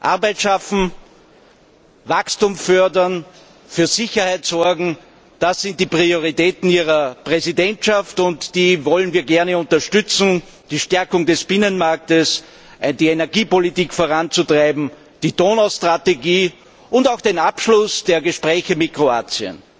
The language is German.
Arbeit schaffen, Wachstum fördern, für Sicherheit sorgen das sind die Prioritäten Ihrer Präsidentschaft, und die wollen wir gerne unterstützen. Die Stärkung des Binnenmarktes, die Energiepolitik voranzutreiben, die Donaustrategie und auch den Abschluss der Gespräche mit Kroatien.